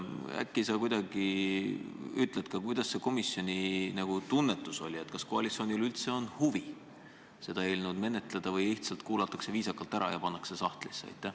Äkki sa ütled ka, milline oli komisjoni tunnetus: kas koalitsioonil üldse on huvi seda eelnõu menetleda või lihtsalt kuulatakse viisakalt ära ja pannakse see sahtlisse?